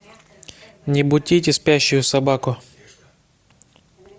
не будите спящую собаку